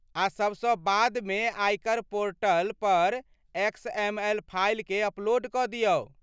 आ सभसँ बादमे आयकर पोर्टल पर एक्सएमएल फाइलकेँ अपलोड कऽ दियौ।